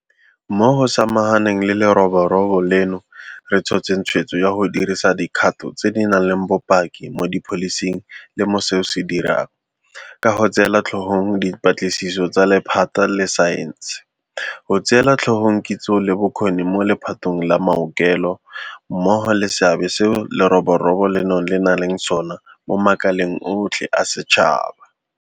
Mo go samaganeng le leroborobo leno re tshotse tshweetso ya go dirisa dikgato tse di nang le bopaki mo dipholising le mo seo re se dirang, ka go tseela tlhogong dipatlisiso tsa lephata la saense, go tseela tlhogong kitso le bokgoni mo le phateng la maokelo mmogo le seabe seo leroborobo leno le nnang le sona mo makaleng otlhe a setšhaba.